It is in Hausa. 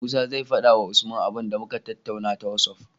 Musa zai fada wa usman abun da muka tattaunawa ta whatsapp